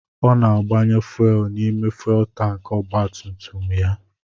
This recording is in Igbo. Ọ na-agbanye fuuel n'ime fuuel tankị ọgbatumtum ya.